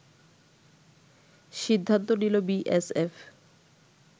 সিদ্ধান্ত নিল বিএসএফ